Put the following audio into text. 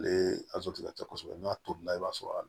Ale ka ca kosɛbɛ n'a tolila i b'a sɔrɔ a